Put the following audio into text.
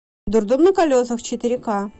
дурдом на колесах четыре ка